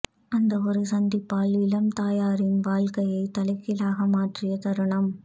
அந்த ஒரு சந்திப்பால் இளம் தாயாரின் வாழ்க்கையை தலைகீழாக மாற்றிய தருணம்